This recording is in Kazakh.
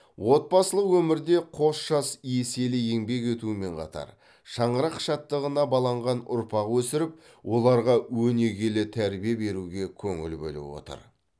отбасылық өмірде қос жас еселі еңбек етумен қатар шаңырақ шаттығына баланған ұрпақ өсіріп оларға өнегелі тәрбие беруге көңіл бөліп отыр